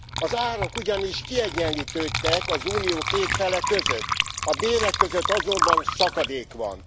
Az árak ugyanis kiegyenlítődtek az Unió két fele között, a bérek között azonban szakadék van.